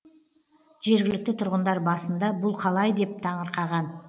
жергілікті тұрғындар басында бұл қалай деп таңырқаған